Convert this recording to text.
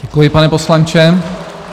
Děkuji, pane poslanče.